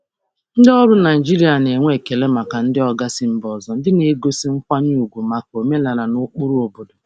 Ndị ọrụ Naịjirịa na-enwe ekele maka ndị oga si mba ọzọ ndị na-egosi nkwanye ùgwù maka omenala na ụkpụrụ obodo.